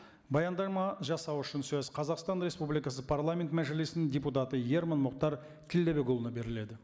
баяндама жасау үшін сөз қазақстан республикасы парламент мәжілісінің депутаты ерман мұхтар тілдабекұлына беріледі